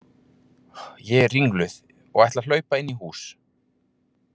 Ég er ringluð og ætla að hlaupa inn í hús.